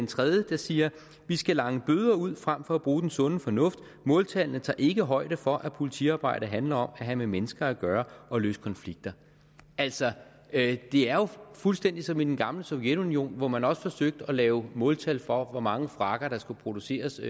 tredje der siger vi skal lange bøder ud frem for at bruge den sunde fornuft måltallene tager ikke højde for at politiarbejde handler om at have med mennesker at gøre og løse konflikter altså det er jo fuldstændig som i det gamle sovjetunionen hvor man også forsøgte at lave måltal for hvor mange frakker der skulle produceres